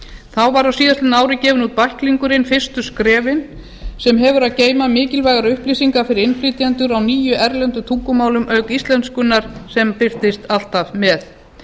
þá var á síðastliðnu ári gefinn út bæklingurinn fyrstu skrefin sem hefur að geyma mikilvægar upplýsingar fyrir innflytjendur á níu erlendum tungumálum auk íslenskunnar sem birtist alltaf með